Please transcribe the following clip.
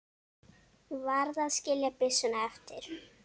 Varð að skilja byssuna eftir.